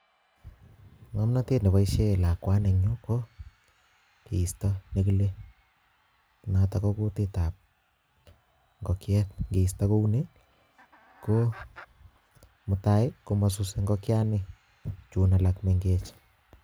Ng'omnotet neboishen lakwani en yuu ko kisto nekile noton ko kutietab ing'okiet, ingeisto kouni ko mutai komosuse ing'okiani chuun alak meng'ech.